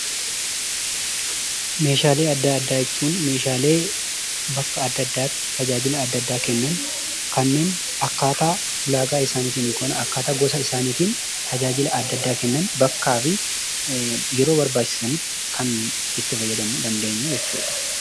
Meeshaalee adda addaa jechuun meeshaalee bakka adda addaatti tajaajila adda addaa kennan kanneen akkaataa ulaagaa isaaniitiin yookan akkaataa gosa isaaniitiin tajaajila adda addaa kennan bakkaa fi yeroo barbaachisanitti kan itti fayyadamuu dandeenyuu jechuudha.